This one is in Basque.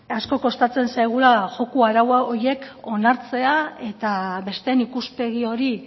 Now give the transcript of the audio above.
asko kostatzen zaigula joko arau horiek onartzea eta besteen ikuspegi hori